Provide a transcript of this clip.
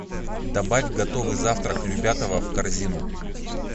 добавь готовый завтрак любятово в корзину